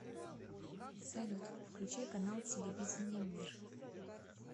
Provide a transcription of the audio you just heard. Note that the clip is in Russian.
салют включай канал телевидения мир